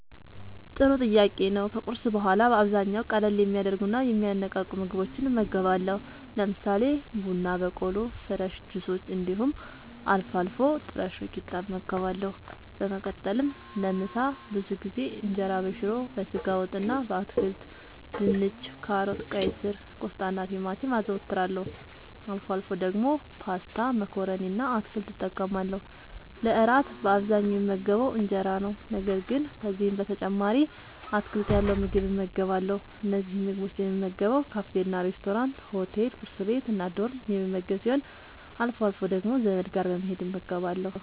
ጥሩ ጥያቄ ነዉ ከቁርስ በኋላ በአብዛኛዉ ቀለል የሚያደርጉና የሚያነቃቁ ምግቦችን እመገባለሁ። ለምሳሌ፦ ቡና በቆሎ፣ ፍረሽ ጁሶች እንዲሁም አልፎ አልፎ ጥረሾ ቂጣ እመገባለሁ። በመቀጠልም ለምሳ ብዙ ጊዜ እንጀራበሽሮ፣ በስጋ ወጥ እና በአትክልት( ድንች፣ ካሮት፣ ቀይስር፣ ቆስጣናቲማቲም) አዘወትራለሁ። አልፎ አልፎ ደግሞ ፓስታ መኮረኒ እና አትክልት እጠቀማለሁ። ለእራት በአብዛኛዉ የምመገበዉ እንጀራ ነዉ። ነገር ግን ከዚህም በተጨማሪ አትክልት ያለዉ ምግብ እመገባለሁ። እነዚህን ምግቦች የምመገበዉ ካፌናሬስቶራንት፣ ሆቴል፣ ቁርስ ቤት፣ እና ዶርም የምመገብ ሲሆን አልፎ አልፎ ደግሞ ዘመድ ጋር በመሄድ እመገባለሁ።